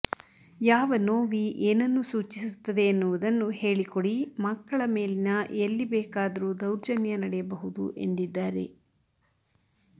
ಯಾವ ನೋವಿ ಏನನ್ನು ಸೂಚಿಸುತ್ತದೆ ಎನ್ನುವುದನ್ನು ಹೇಳಿ ಕೊಡಿ ಮಕ್ಕಳ ಮೇಲಿನ ಎಲ್ಲಿ ಬೇಕಾದರೂ ದೌರ್ಜನ್ಯ ನಡೆಯಬಹುದು ಎಂದಿದ್ದಾರೆ